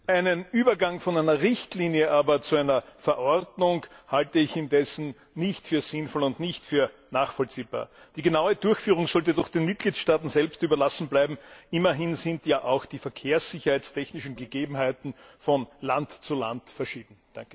Einen Übergang von einer Richtlinie aber zu einer Verordnung halte ich indessen nicht für sinnvoll und nicht für nachvollziehbar. Die genaue Durchführung sollte doch den Mitgliedstaaten selbst überlassen bleiben, immerhin sind ja auch die verkehrssicherheitstechnischen Gegebenheiten von Land zu Land verschieden.